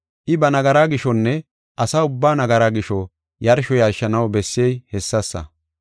I ba nagara gishonne asa ubbaa nagara gisho yarsho yarshanaw bessey hessasa.